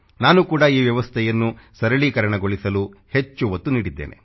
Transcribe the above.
ನಾನು ಕೂಡ ಈ ವ್ಯವಸ್ಥೆಯನ್ನು ಸರಳೀಕರಣಗೊಳಿಸಲು ಹೆಚ್ಚು ಒತ್ತು ನೀಡಿದ್ದೇನೆ